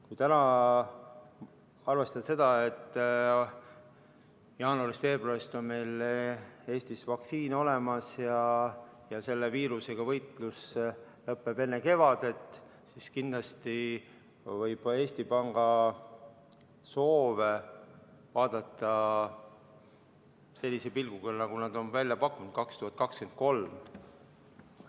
Kui täna, arvestades seda, et jaanuarist-veebruarist on meil Eestis vaktsiin olemas ja selle viirusega võitlus lõppeb enne kevadet, siis kindlasti võib Eesti Panga soove vaadata sellise pilguga, nagu nad on välja pakkunud, et majandus taastub 2023.